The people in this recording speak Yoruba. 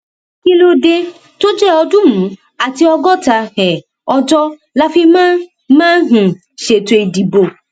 kí ló dé tó jẹ ọọdúnrún àti ọgọta um ọjọ la fi máa máa um ṣètò ìdìbò